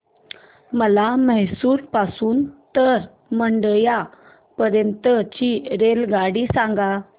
मला म्हैसूर पासून तर मंड्या पर्यंत ची रेल्वेगाडी सांगा